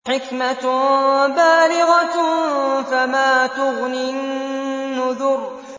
حِكْمَةٌ بَالِغَةٌ ۖ فَمَا تُغْنِ النُّذُرُ